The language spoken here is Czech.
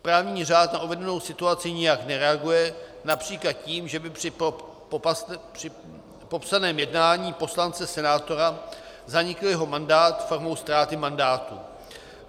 Právní řád na uvedenou situaci nijak nereaguje například tím, že by při popsaném jednání poslance, senátora zanikl jeho mandát formou ztráty mandátu.